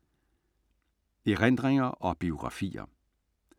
Erindringer og biografier